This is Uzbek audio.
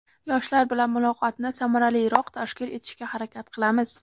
yoshlar bilan muloqotni samaraliroq tashkil etishga harakat qilamiz.